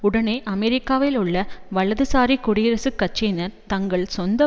உடனே அமெரிக்காவில் உள்ள வலதுசாரி குடியரசுக்கட்சியினர் தங்கள் சொந்த